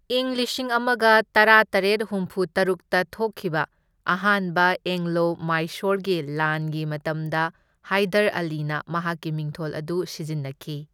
ꯏꯪ ꯂꯤꯁꯤꯡ ꯑꯃꯒ ꯇꯔꯥꯇꯔꯦꯠ ꯍꯨꯝꯐꯨ ꯇꯔꯨꯛꯇ ꯊꯣꯛꯈꯤꯕ ꯑꯍꯥꯟꯕ ꯑꯦꯡꯂꯣ ꯃꯥꯏꯁꯣꯔꯒꯤ ꯂꯥꯟꯒꯤ ꯃꯇꯝꯗ ꯍꯥꯏꯗꯔ ꯑꯂꯤꯅ ꯃꯍꯥꯛꯀꯤ ꯃꯤꯡꯊꯣꯜ ꯑꯗꯨ ꯁꯤꯖꯤꯟꯅꯈꯤ꯫